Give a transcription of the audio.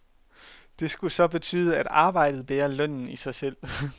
Det skulle så betyde at arbejdet bærer lønnen i sig selv.